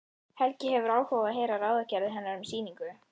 Helgi hefur áhuga á að heyra ráðagerðir hennar um sýningu.